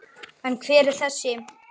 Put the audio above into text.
En hver er þessi?